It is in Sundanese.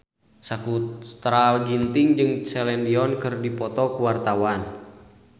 Sakutra Ginting jeung Celine Dion keur dipoto ku wartawan